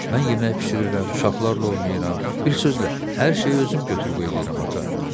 Mən yemək bişirirəm, uşaqlarla oynayıram, bir sözlə, hər şeyi özüm götür qoy eləyirəm ata.